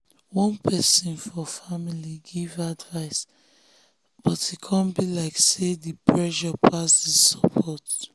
one person for family give advice but e come be like say the pressure pass the support